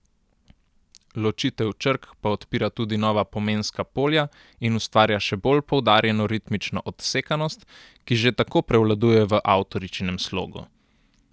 Ločitev črk pa odpira tudi nova pomenska polja in ustvarja še bolj poudarjeno ritmično odsekanost, ki že tako prevladuje v avtoričinem slogu.